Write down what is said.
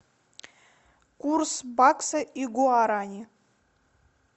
курс бакса и гуарани